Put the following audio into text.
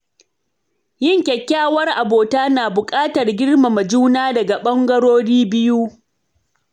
Yin Kyakkyawar abota na buƙatar girmama juna daga ɓangarorin biyu.